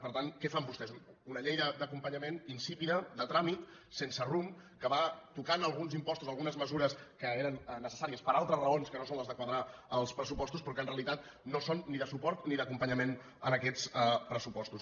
per tant què fan vostès una llei d’acompanyament insípida de tràmit sense rumb que va tocant alguns impostos algunes mesures que eren necessàries per altres raons que no són les de quadrar els pressupostos però que en realitat no són ni de suport ni d’acompanyament a aquests pressupostos